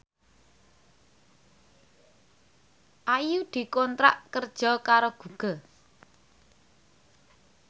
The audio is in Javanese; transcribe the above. Ayu dikontrak kerja karo Google